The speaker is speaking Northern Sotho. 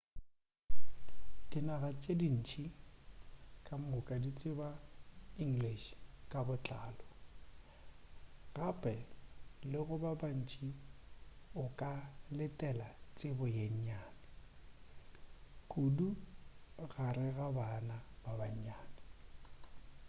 dinaga tše dintši kamoka di tseba english ka botlalo gape le go ba bantši o ka letela tsebo yeo nnyane kudu gare ga bana ba bannyane